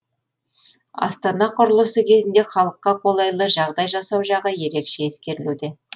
астана құрылысы кезінде халыққа қолайлы жағдай жасау жағы ерекше ескерілуде